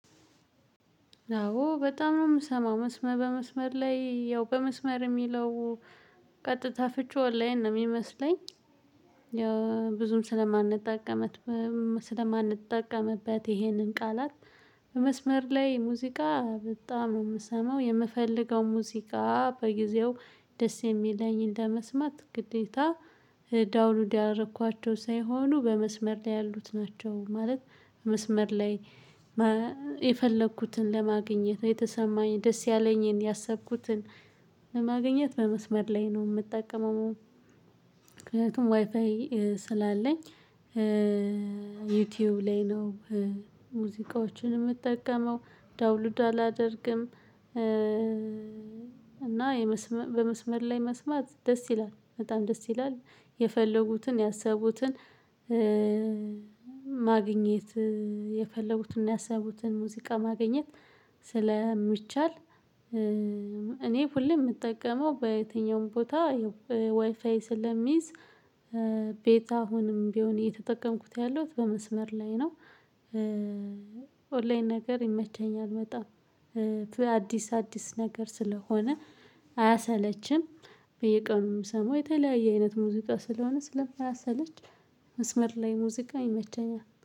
አዎ በጣም ነው የምሰማው በመስመር ላይ ያው በመስመር የሚለው ቀጥታ ፍችው ኦንላይን ነው የሚመስለኝ። ያው ብዙም ስለማንጠቀምበት ይሄንን ቃላት በመስመር ላይ ሙዚቃ በጣም ነው የምሰማው የምፈልገው ሙዚቃ በጊዜው ደስ የሚለኝን ለመስማት ግዴታ ዳውንሎድ ያደረኳቸው ሳይሆኑ በመስመር ላይ ያሉት ናቸው። ማለት በመስመር ላይ የፈለኩትን ለማግኘት የተሰማኝ ደስ ያለኝን ያሰብኩትን ለማግኘት በመስመር ላይ ነው የምጠቀመው። ምክንያቱም ዋይፋይ ስላለኝ ዩቲዩብ ላይ ነው ሙዚቃዎችን የምጠቀመው ዳውንሎድ አላደርግም። እና በመስመር ላይ መስማት ደስ ይላል በጣም ደስ ይላል። የፈለጉትን ያሰቡትን ማግኘት የፈለጉትን ያሰቡትን ሙዚቃ ማግኘት ስለሚቻል። እኔ ሁሌ የምጠቀመው በየትኛውም ቦታ ዋይፋይ ስለምይዝ ቤታ አሁንም ቢሆን እየተጠቀምኩት ያለሁት በመስመር ላይ ነው። ኦንላይን ነገር ይመቸኛል በጣም። አዲስ አዲስ ነገር ስለሆነ አያሰለችም በየቀኑ ምሰማው የተለያየ አይነት ሙዚቃ ስለሆነ ስለማያሰለች። መስመር ላይ ሙዚቃ ይመቸኛል